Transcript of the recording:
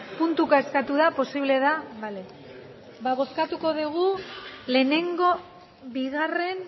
puntuka eskatu da posible da bale ba bozkatuko dugu lehenengo bigarren